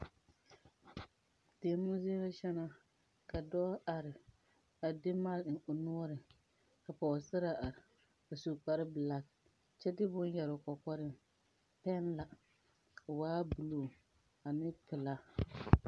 Deɛmo zie la kyɛ naa ka dɔɔ are a de mic eŋ o noɔreŋ ka Pɔgesera are a su kpare black kyɛ de bonne yere o kɔkɔre peŋ la o yaa blue ane pelaa.